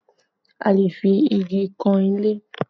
A lè fi igi kan ilé